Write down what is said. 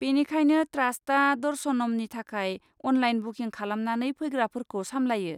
बेनिखायनो ट्रास्टआ दर्शनमनि थाखाय अनलाइन बुकिं खालामनानै फैग्राफोरखौ सामलायो।